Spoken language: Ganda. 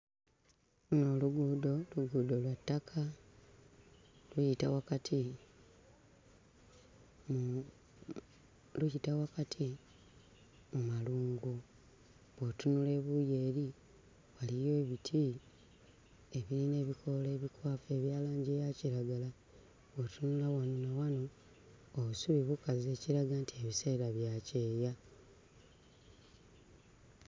Luno oluguudo oluguudo lwa ttaka luyita wakati mm luyita wakati mu malungu, bw'otunula ebuuyi eri waliyo ebiti ebiyina ebikoola ebikwafu ebya langi eya kiragala bw'otunula wano ne wano, obusubi bukaze ekiraga nti biseera bya kyeya.